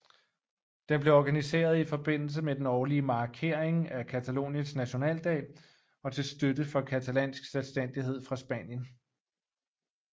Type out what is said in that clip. Den blev organiseret i forbindelse med den årlige markering af Cataloniens nationaldag og til støtte for catalansk selvstændighed fra Spanien